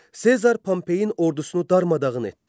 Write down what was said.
Sezar Pompeyin ordusunu darmadağın etdi.